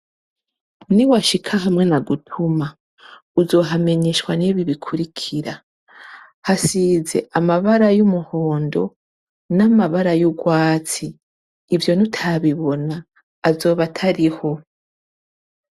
Niwashika hamwe nagutuma, uzohamenyeshwa n'ibi bikurikira: hasize amabara y'umuhondo, n'amabara y'urwatsi. Ivyo nutabibona, azoba atari ho.